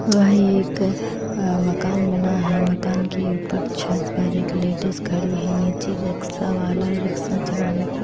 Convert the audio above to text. वही एक अह मकान बना है मकान के ऊपर छत पर एक लेडिस खड़ी है नीचे रिक्शा वाला रिक्शा चलाने की--